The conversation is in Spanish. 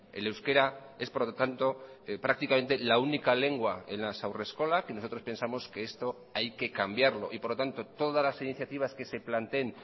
el euskera es por lo tanto prácticamente la única lengua en las haurreskolak y nosotros pensamos que esto hay que cambiarlo y por lo tanto todas las iniciativas que se planteen